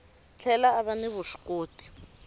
tlhela a va ni vuswikoti